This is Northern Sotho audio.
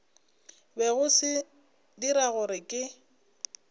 bego se dira gore ke